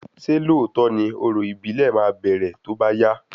Ṣé lóòtọ́ ni orò ìbílẹ̀ máa bẹrẹ tóbá yá?